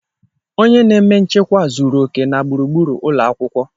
Onye na-eme nchekwa zuru oke na gburugburu ụlọ akwụkwọ.